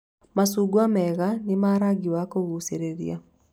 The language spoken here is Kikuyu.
Macungwa mega nĩ ma rangi wa kũgucĩrĩria